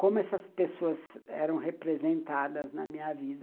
Como essas pessoas eram representadas na minha vida.